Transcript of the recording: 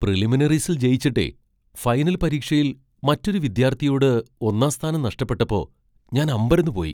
പ്രിലിമിനറീസിൽ ജയിച്ചിട്ടേ, ഫൈനൽ പരീക്ഷയിൽ മറ്റൊരു വിദ്യാർത്ഥിയോട് ഒന്നാം സ്ഥാനം നഷ്ടപ്പെട്ടപ്പോ, ഞാൻ അമ്പരന്നുപോയി.